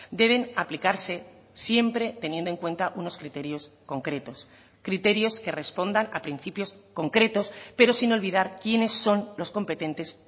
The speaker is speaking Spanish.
deben aplicarse siempre teniendo en cuenta unos criterios concretos criterios que respondan a principios concretos pero sin olvidar quiénes son los competentes